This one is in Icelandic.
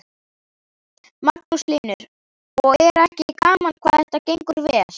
Magnús Hlynur: Og er ekki gaman hvað þetta gengur vel?